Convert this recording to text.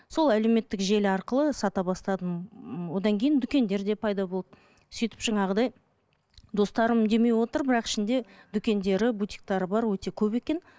сол әдеуметтік желі арқылы сата бастадым м одан кейін дүкендер де пайда болды сөйтіп жаңағыдай достарым демеп отыр бірақ ішінде дүкендері бутиктері бар өте көп екен